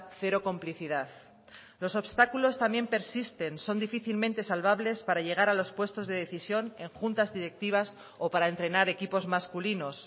cero complicidad los obstáculos también persisten son difícilmente salvables para llegar a los puestos de decisión en juntas directivas o para entrenar equipos masculinos